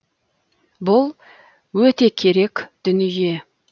бұл өте керек дүние